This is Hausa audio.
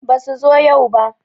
Basu zo yau ba